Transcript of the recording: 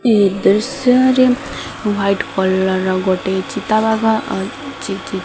ଏହି ଦୃଶ୍ୟରେ white collar ର ଗୋଟେ ଚିତାବାଘ ଆସିଚି।